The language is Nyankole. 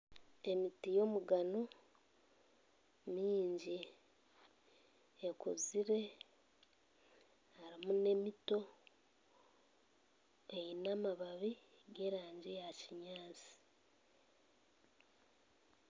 Emiti y'omugano myingi ekuzire harumu n'emito eine amababi g'erangi ya kinyansi.